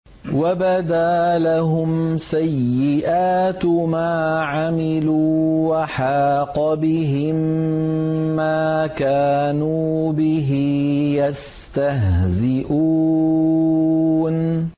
وَبَدَا لَهُمْ سَيِّئَاتُ مَا عَمِلُوا وَحَاقَ بِهِم مَّا كَانُوا بِهِ يَسْتَهْزِئُونَ